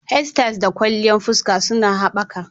Hairstyles da kwalliyan fuska suna haɓaka.